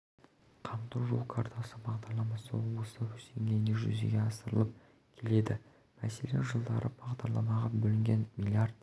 қамту жол картасы бағдарламасы облыста өз деңгейінде жүзеге асырылып келеді мәселен жылдары бағдарламаға бөлінген млрд